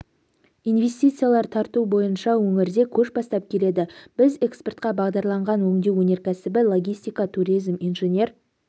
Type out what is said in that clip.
инвестициялар тарту бойынша өңірде көш бастап келеді біз экспортқа бағдарланған өңдеу өнеркәсібі логистика туризм инженер